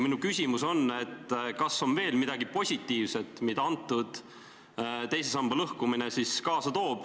Minu küsimus on, et kas on veel midagi positiivset, mida teise samba lõhkumine kaasa toob.